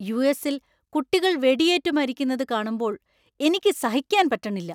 യു.എസ്.ൽ കുട്ടികൾ വെടിയേറ്റുമരിക്കുന്നത് കാണുമ്പോൾ എനിക്ക് സഹിക്കാന്‍ പറ്റണില്ല.